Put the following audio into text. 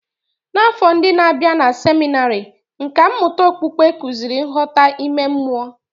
N'afọ ndi n'abia na seminarị, nkà mmụta okpukpe kụziri nghọta ime mmụọ.